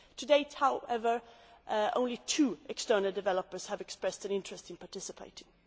To date, however, only two external developers have expressed an interest in participating.